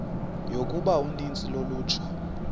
yokuba uninzi lolutsha